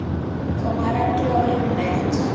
Koma reglu á líf mitt.